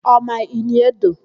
Ọ ma Ini Edo?